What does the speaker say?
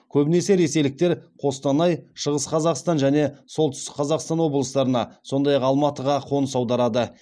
көбінесе ресейліктер қостанай шығыс қазақстан және солтүстік қазақстан облыстарына сондай ақ алматыға қоныс аударады